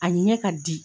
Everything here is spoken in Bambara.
A ɲɛ ka di